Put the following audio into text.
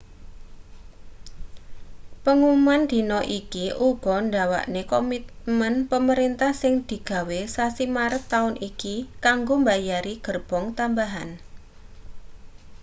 pengumuman dina iki uga ndawakne komitmen pemerintah sing digawe sasi maret taun iki kanggo mbayari gerbong tambahan